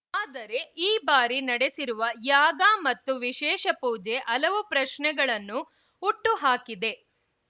ಆದರೆ ಈ ಬಾರಿ ನಡೆಸಿರುವ ಯಾಗ ಮತ್ತು ವಿಶೇಷ ಪೂಜೆ ಹಲವು ಪ್ರಶ್ನೆಗಳನ್ನು ಹುಟ್ಟು ಹಾಕಿದೆ